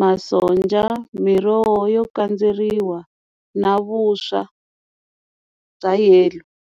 masonja, miroho yo kandzeriwa na vuswa bya yellow.